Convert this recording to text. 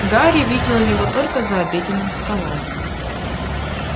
гарри видел его только за обеденным столом